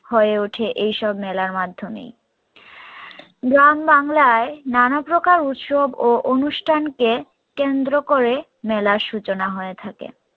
হয়ে ওঠে এইসব মেলার মাধ্যমেই গ্রাম বাংলায় নানা প্রকার উৎসব ও অনুষ্ঠানকে কেন্দ্র করে মেলার সূচনা হয়ে থাকে